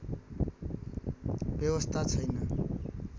व्यवस्था छैन